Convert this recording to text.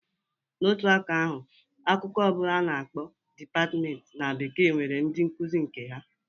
Na otu aka ahu, akụkụ ọ bụla nke a na-akpọ 'department' na bekee, nwere ndị nkuzi nke ha.